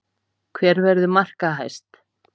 Hver verður markahæst?